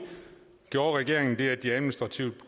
gjorde regeringen det at de administrativt